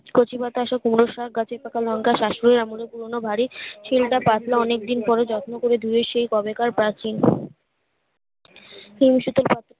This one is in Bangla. কচি পাতা আসা কুমড়োর শাক গাছে পাকা লংকা সাস নিয়ে এমনি পুরোনো বাড়ি ছেলেটা পাতলা অনেকদিন পরে যত্ন করে ধুয়ে সেই কবে কার প্রাচীন